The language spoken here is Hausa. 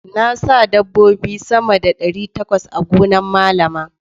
Na sa dabbobi sama da ɗari takwas a gonan Malama.